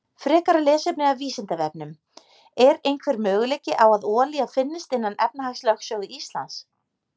Frekara lesefni af Vísindavefnum: Er einhver möguleiki á að olía finnist innan efnahagslögsögu Íslands?